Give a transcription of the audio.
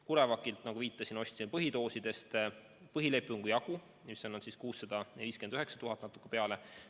CureVacilt, nagu viitasin, ostsime doose põhilepingu jagu, mis on 659 000 ja natuke peale.